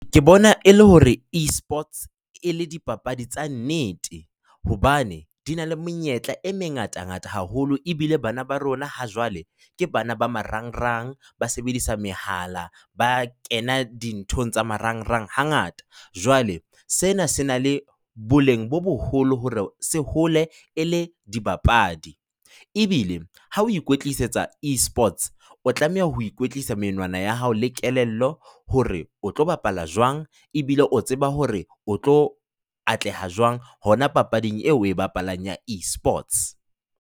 Ke bona e le hore e-sports e le dipapadi tsa nnete hobane di na le monyetla e mengatangata haholo ebile bana ba rona ha jwale ke bana ba marangrang, ba sebedisa mehala, ba kena dintho tsa marangrang hangata, jwale sena se na le boleng bo boholo hore se hole e le dibapadi. Ebile, ha o ikwetlisetsa esports, o tlameha ho kwetlisa menwana ya hao le kelello hore o tlo bapala jwang ebile o tseba hore o tlo atleha jwang hona papading eo o e bapalang ya e-sports.